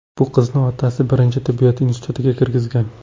Bu qizni otasi birinchi tibbiyot institutiga kirgizgan.